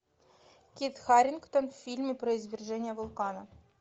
кит харингтон в фильме про извержение вулкана